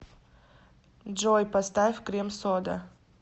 джой поставь крем сода